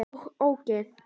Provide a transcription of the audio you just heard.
OG ÓGEÐ!